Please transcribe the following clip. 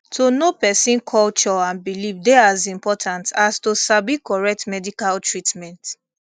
to know person culture and belief dey as important as to sabi correct medical treatment